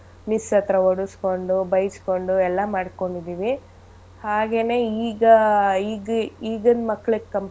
Miss ಹತ್ರ ಹೊಡಸ್ಕೊಂಡು ಬೈಸ್ಕೊಂಡು ಎಲ್ಲಾ ಮಾಡ್ಕೊಂಡಿದಿವಿ ಹಾಗೇನೇ ಈಗ ಈಗ್~ ಈಗಿನ್ ಮಕ್ಳಿಗ್.